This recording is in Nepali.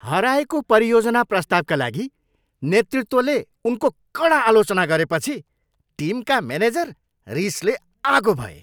हराएको परियोजना प्रस्तावका लागि नेतृत्वले उनको कडा आलोचना गरेपछि टिमका मेनेजर रिसले आगो भए।